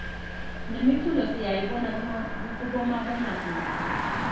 nemiculo siyayibona kubomabonakudze